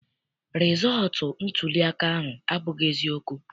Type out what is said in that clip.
Rịzọọtụ ntuliaka ahụ abụghị eziokwu.